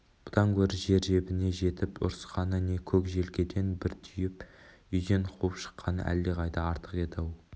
бұдан гөрі жер-жебіріне жетіп ұрысқаны не көк желкеден бір түйіп үйден қуып шыққаны әлдеқайда артық еді-ау